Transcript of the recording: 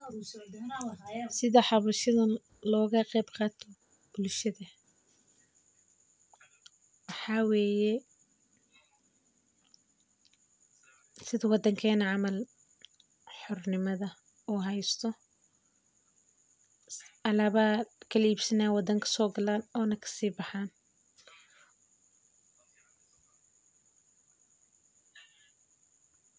Sitha xabashadan loga qeb qato bulshaada, waxaa weye sitha wadankena camal xornimadha u haysto alaba aya lakala ibsana ona si baxan.